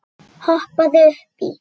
Hoppaðu upp í.